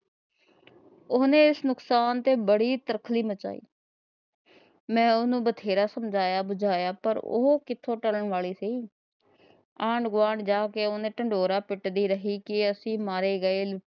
ਉਹਨੇ ਇਸ ਨਕਸਾਨ ਤੇ ਬੜੀ ਤਰਖਲੀ ਮਚਾਈ। ਮੈ ਉਹਨੂੰ ਬੜਾ ਸਮਜਾਇਆ ਬੁਜਾਇਆ ਪਰ ਉਹ ਕਿੱਥੇ ਟਲਣ ਵਾਲੀ ਸੀ। ਆਂਢ-ਗੁਆਂਢ ਜਾ ਕੇ ਉਹਨੇ ਢਿਡੋਰਾ ਪਿੱਟਦੀ ਰਹੀ। ਕਿ ਅਸੀ ਮਾਰੇ ਗਏ